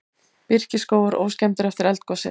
Birkiskógar óskemmdir eftir eldgosið